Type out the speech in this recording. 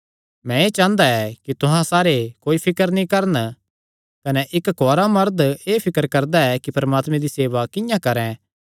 मैं एह़ चांह़दा ऐ कि तुहां सारे कोई फिकर नीं करन कने इक्क कुआरा मरद एह़ फिकर करदा ऐ कि परमात्मे दी सेवा किंआं करैं